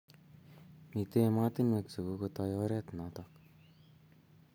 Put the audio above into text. Mito ematinwek che kokotoiy oret notok